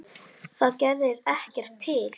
Það gerði ekkert til.